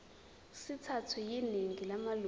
sithathwe yiningi lamalunga